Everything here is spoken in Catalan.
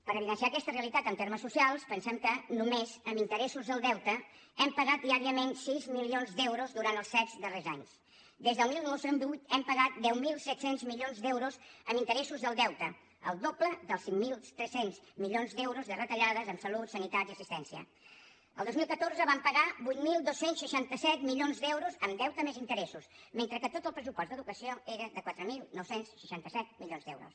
per evidenciar aquesta realitat en termes socials pensem que només en interessos del deute hem pagat diàriament sis milions d’euros durant els set darrers anys des del dos mil deu hem pagat deu mil set cents milions d’euros en interessos del deute el doble dels cinc mil tres cents milions d’euros de retallades en salut sanitat i assistència el dos mil catorze vam pagar vuit mil dos cents i seixanta set milions d’euros en deute més interessos mentre que tot el pressupost d’educació era de quatre mil nou cents i seixanta set milions d’euros